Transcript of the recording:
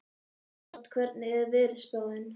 Reinhart, hvernig er veðurspáin?